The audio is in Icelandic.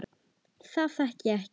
Það þekki ég.